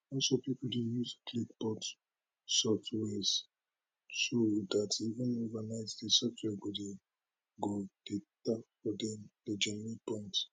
also pipo dey use clickbot soft wares so dat even overnight di software go dey go dey tap for dem dey generate points